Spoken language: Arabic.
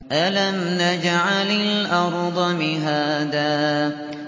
أَلَمْ نَجْعَلِ الْأَرْضَ مِهَادًا